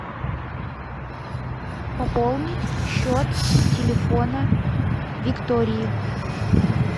пополнить счет телефона виктории